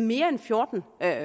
mere end fjorten